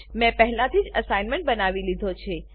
મેં પહેલાથી જ એસાઈનમેંટ બનાવી લીધો છે